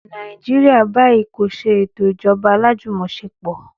Nàìjíríà báyìí kò ṣe ètò ìjọba alájùmọ̀ṣepọ̀